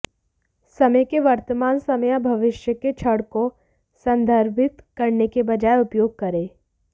समय के वर्तमान समय या भविष्य के क्षण को संदर्भित करने के बजाय उपयोग करें